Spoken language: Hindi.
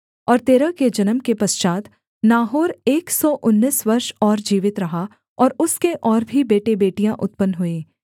और तेरह के जन्म के पश्चात् नाहोर एक सौ उन्नीस वर्ष और जीवित रहा और उसके और भी बेटेबेटियाँ उत्पन्न हुईं